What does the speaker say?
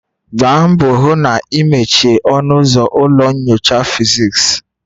Gbaa mbọ hụ na ị mechie ọnụ ụzọ ụlọ nyocha physics.